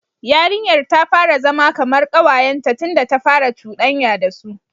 Yarinyar ta fara zama kamar kawayenta tunda ta fara cudanya da su.